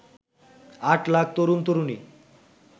আট লাখ তরুন তরুনী